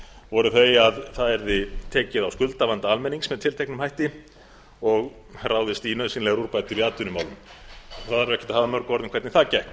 voru þau að það yrði tekið á skuldavanda almennings með tilteknum hætti og ráðist í nauðsynlegar úrbætur í atvinnumálum það þarf ekkert að hafa mörg orð um það hvernig það gekk